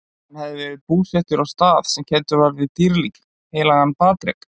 Hann hafði verið búsettur á stað sem kenndur var við dýrling, heilagan Patrek?